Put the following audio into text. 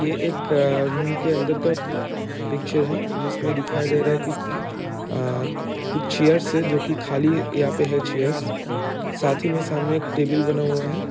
एक रूम के अंदर का पिक्चर है जिस में दिखाई दे रहा है की अ कुछ चेयर है जो की खाली है यहाँ पे चेयर्स साथ ही में सामने बना हुआ है।